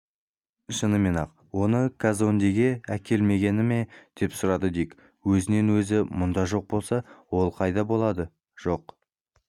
шынымен-ақ оны казондеге әкелмегені ме деп сұрады дик өзінен өзі мұнда жоқ болса ол қайда болады жоқ